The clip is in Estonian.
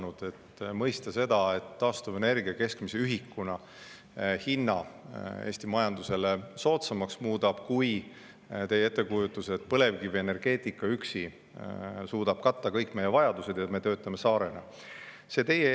mõista seda, et taastuvenergia muudab elektri keskmise ühikuhinna Eesti majandusele soodsamaks, kui seda suudaks teie ettekujutuses põlevkivienergeetika üksi, kattes nagu kõik meie vajadused, kui me töötame saarena.